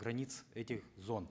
границ этих зон